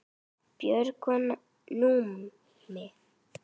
Björg og Númi.